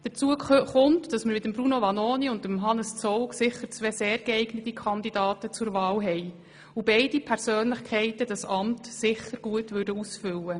Hinzu kommt, dass wir mit Bruno Vanoni und Hannes Zaugg sicher zwei sehr geeignete Kandidaten zur Wahl haben und beide Persönlichkeiten dieses Amt mit Sicherheit gut ausfüllen würden.